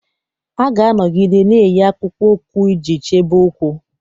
A ga-anọgide na-eyi akpụkpọ ụkwụ iji chebe ụkwụ.